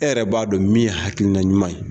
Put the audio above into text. E yɛrɛ b'a dɔn min ye hakilinan ɲuman ye.